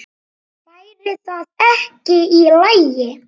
Væri það ekki í lagi?